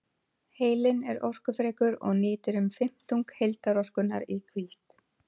Heilinn er orkufrekur og nýtir um fimmtung heildarorkunnar í hvíld.